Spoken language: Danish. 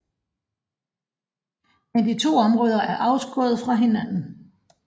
Men de to områder er afskåret fra hinanden